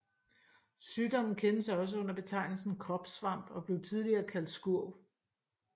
Sygdommen kendes også under betegnelsen kropssvamp og blev tidligere kaldt skurv